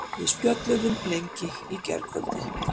Við spjölluðum lengi í gærkvöldi.